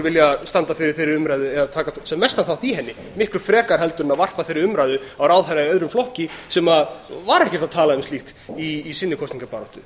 vilja standa fyrir þeirri umræðu eða taka sem mestan þátt í henni miklu frekar en að varpa þeirri umræðu á ráðherra í öðrum flokki sem var ekkert að tala um slíkt í sinni kosningabaráttu